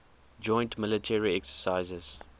joint military exercises